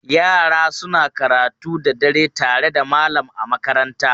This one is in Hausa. Yara suna karatu da dare tare da malam a makaranta.